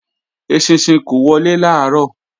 Eṣinṣin kó wọlé làárọ̀